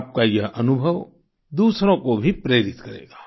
वाकई प्रियंका जी आपका यह अनुभव दूसरों को भी प्रेरित करेगा